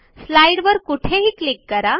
स्लाईडवर कुठेही क्लिक करा